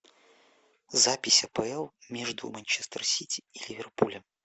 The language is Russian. запись апл между манчестер сити и ливерпулем